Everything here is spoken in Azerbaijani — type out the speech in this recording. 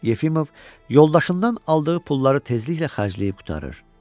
Yefimov yoldaşından aldığı pulları tezliklə xərcləyib qurtarır.